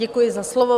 Děkuji za slovo.